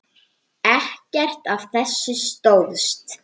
Ekkert af þessu stóðst.